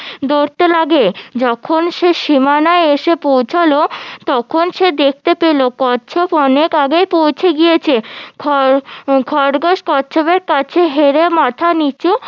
যখন সে সীমানায় এসে পৌঁছলো তখন দেখতে পেলো কচ্ছপ অনেক আগেই পৌঁছে গিয়েছে খরগোশ কচ্ছপের কাছে হেরে মাথা নিচু